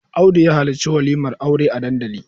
Audu ya halarci walimar aure a dandali.